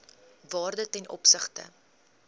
waarde ten opsigte